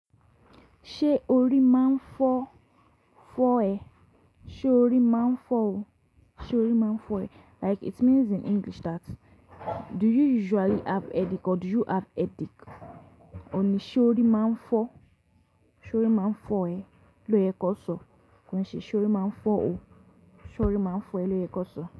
Ṣé orí máa ń fọ, fọ́ ẹ? Sé o rí máa ń fọ ò. Sé o rí máa ń fọ ẹ? Like it means in English that do you usually have headache or do you have headache? AÓ ní ṣé o rí máa ń fọ, ṣé o rí máa ń fọ ẹ lóye kọ́ so. Kon se ṣé o rí máa ń fọ ò, ṣé o rí máa ń fọ ẹ lóye kan so.